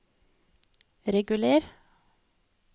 reguler